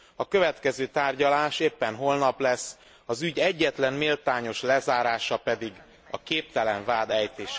A következő tárgyalás éppen holnap lesz, az ügy egyetlen méltányos lezárása pedig a képtelen vád ejtése lehet.